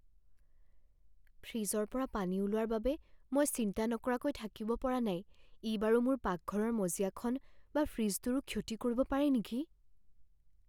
ফ্ৰিজৰ পৰা পানী ওলোৱাৰ বাবে মই চিন্তা নকৰাকৈ থাকিব পৰা নাই ই বাৰু মোৰ পাকঘৰৰ মজিয়াখন বা ফ্ৰিজটোৰো ক্ষতি কৰিব পাৰে নেকি?